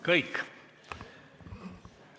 Kõik!